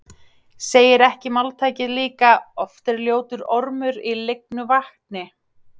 Segir ekki máltækið líka: Oft er ljótur ormur í lygnu vatni